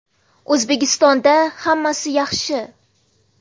O‘zbekistonda hammasi yaxshi.